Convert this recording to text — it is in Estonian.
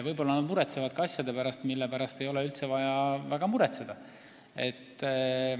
Võib-olla nad ka muretsevad asjade pärast, mille pärast ei ole üldse vaja väga muretseda.